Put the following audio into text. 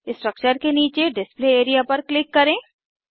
structure के नीचे display area पर क्लिक करें